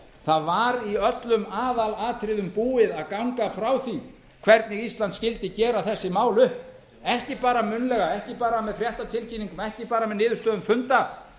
það var í öllum aðalatriðum búið að ganga frá því hvernig ísland skyldi gera þessi mál upp ekki bara munnlega ekki bara